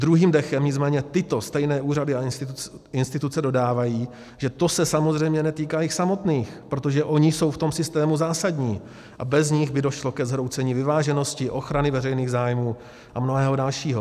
Druhým dechem nicméně tyto stejné úřady a instituce dodávají, že se to samozřejmě netýká jich samotných, protože oni jsou v tom systému zásadní a bez nich by došlo ke zhroucení vyváženosti, ochrany veřejných zájmů a mnohého dalšího.